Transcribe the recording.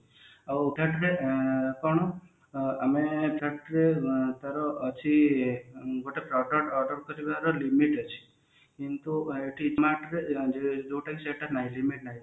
ଆଉ କଣ ମାନେ factory ତାର ଅଛି ଗୋଟେ product order କରିବା ର limit ଅଛି କିନ୍ତୁ ଏଠି କଣ ଯୋଉଟା ସେଇଟା ନାହିଁ limit ନାହିଁ